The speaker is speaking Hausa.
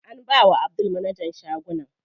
An bawa Abdul managan shagunan.